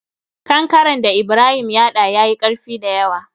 Kankaren da Ibrahim ya hada ya yi ƙarfi dayawa.